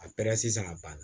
A sisan ka ban